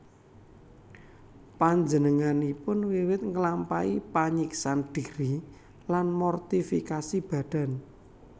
Panjenenganipun wiwit nglampahi panyiksan dhiri lan mortifikasi badan